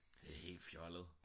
det er helt fjollet